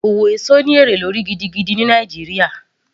Owó èso ní èrè lórí gidigidi ní Nàìjíríà